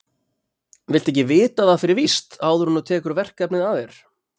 Viltu ekki vita það fyrir víst áður en þú tekur verkefnið að þér?